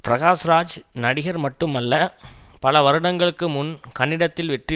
பிரகாஷ்ராஜ் நடிகர் மட்டுமல்ல பல வருடங்களுக்கு முன் கன்னடத்தில் வெற்றி